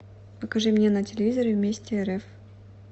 покажи мне на телевизоре вместе рф